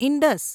Indus